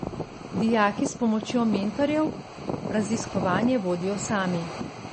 Dijaki, s pomočjo mentorjev, raziskovanje vodijo sami.